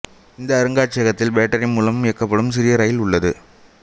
இந்த அருங்காட்சியகத்தில் பேட்டரி மூலம் இயக்கப்படும் சிறிய ரயில் உள்ளது